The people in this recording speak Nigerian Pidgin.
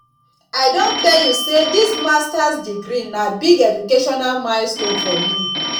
i don tell you sey dis masters degree na big educational milestone for me